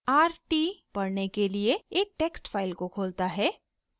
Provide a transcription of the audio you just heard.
rt = पढ़ने के लिए एक टेक्स्ट फाइल को खोलता है